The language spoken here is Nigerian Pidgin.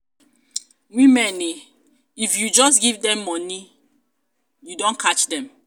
women eh! if you just give dem dem money you don catch dem.